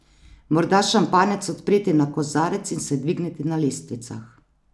Morda šampanjec odpreti na kozarec in se dvigniti na lestvicah.